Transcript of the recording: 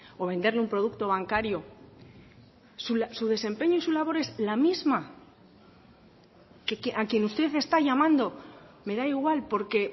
o venderle un producto bancario su desempeño y su labor es la misma a quien usted está llamando me da igual porque